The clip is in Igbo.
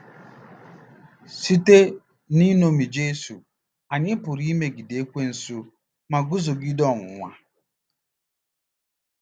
Site n'iṅomi Jesu, anyị pụrụ imegide Ekwensu ma guzogide ọnwụnwa.